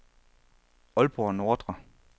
Aalborg Nordre